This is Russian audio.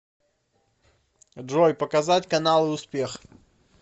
джой показать каналы успех